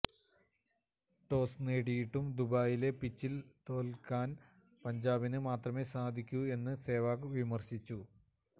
toss നേടിയിട്ടും ദുബായിലെ പിച്ചില് തോല്ക്കാന് പഞ്ചാബിന് മാത്രമേ സാധിക്കൂ എന്ന് സെവാഗ് വിമര്ശിച്ചു